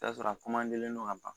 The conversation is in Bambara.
I bi t'a sɔrɔ a do ka ban